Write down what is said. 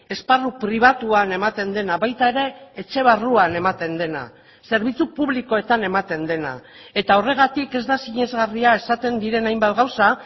esparru pribatuan ematen dena baita ere etxe barruan ematen dena zerbitzu publikoetan ematen dena eta horregatik ez da sinesgarria esaten diren hainbat gauza